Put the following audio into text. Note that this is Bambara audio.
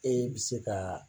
Ee bi se kaa